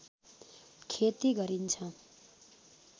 खेती गरिन्छ